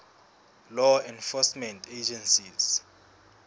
law enforcement agencies